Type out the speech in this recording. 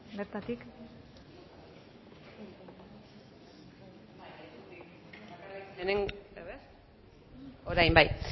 bai bertatik bai lekutik orain bai